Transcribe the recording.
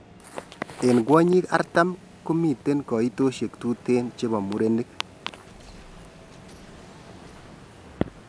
en kwanyiik artam , komiten kaitoshek tuten chepo murenig